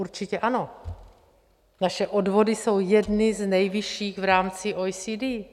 Určitě ano, naše odvody jsou jedny z nejvyšších v rámci OECD.